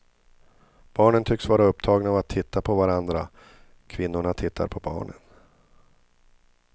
Barnen tycks vara upptagna av att titta på varandra, kvinnorna tittar på barnen.